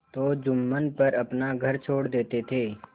तो जुम्मन पर अपना घर छोड़ देते थे